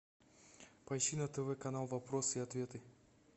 поищи на тв канал вопросы и ответы